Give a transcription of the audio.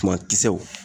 Tuma kisɛw